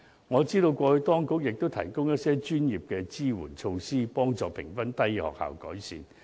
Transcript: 我知道過去當局亦提供一些專業的支援措施，幫助評分低的學校作出改善。